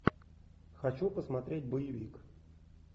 хочу посмотреть боевик